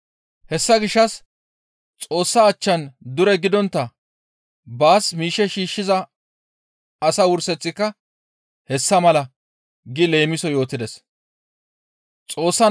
«Hessa gishshas Xoossa achchan dure gidontta baas miishshe shiishshiza asa wurseththika hessa mala» gi leemison yootides.